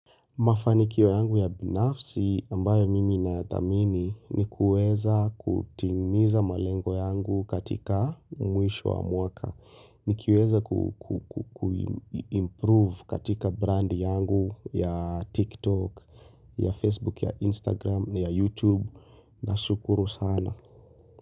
Mafanikiwa yangu ya binafsi ambayo mimi nayathamini ni kuweza kutimiza malengo yangu katika mwisho wa mwaka. Nikiweza kuimprove katika brand yangu ya TikTok, ya Facebook, ya Instagram, ya YouTube. Nashukuru sana.